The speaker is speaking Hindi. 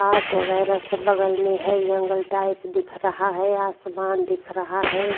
घास वगेरा सब बगल में है जंगल टाइप दिख रहा है आसमान दिख रहा है।